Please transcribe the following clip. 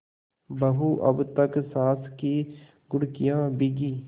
बहू अब तक सास की घुड़कियॉँ भीगी